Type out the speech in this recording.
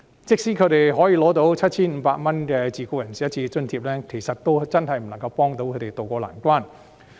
即使他們可以領取 7,500 元的自僱人士一次性津貼，但也真的不足以協助他們渡過難關。